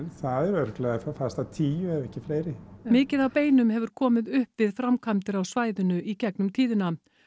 það eru örugglega fast að tíu ef ekki fleiri mikið af beinum hefur komið upp við framkvæmdir á svæðinu í gegnum tíðina